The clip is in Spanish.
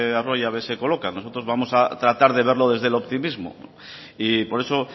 arroyabe se coloca nosotros vamos a tratar de verlo desde el optimismo y por eso